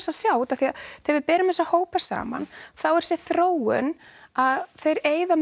að sjá því að þegar við berum þessa hópa saman þá er þessi þróun að þeir eyða